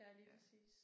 Ja lige præcis